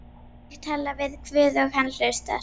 Ég tala við guð og hann hlustar.